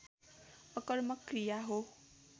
अकर्मक क्रिया हो